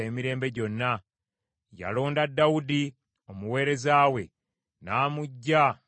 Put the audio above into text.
Yalonda Dawudi omuweereza we; n’amuggya mu kulunda endiga.